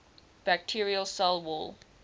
bacterial cell wall